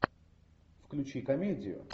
включи комедию